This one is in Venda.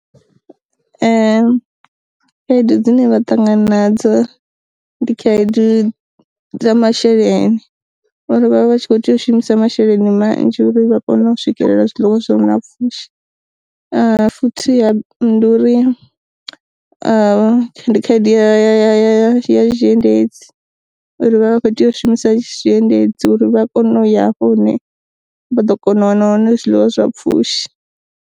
Khaedu dzine vha ṱangana na dzo ndi khaedu dza masheleni uri vhavha vhatshi kho tea u shumisa masheleni manzhi uri vha kone u swikelela zwiḽiwa zwi re na pfhushi. Futhi ndi uri ndi khaedu ya ya ya zwiendedzi uri vha vha kho tea u shumisa zwi endedzi uri vha kone u ya hafho hune vha ḓo kona u wana hone zwiḽiwa zwa pfushi.